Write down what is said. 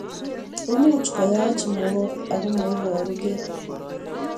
Much koyach mook ako maiparukei